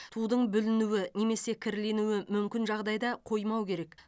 тудың бүлінуі немесе кірленуі мүмкін жағдайда қоймау керек